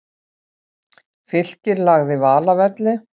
Fylkir lagði Val að velli